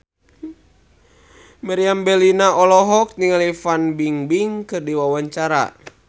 Meriam Bellina olohok ningali Fan Bingbing keur diwawancara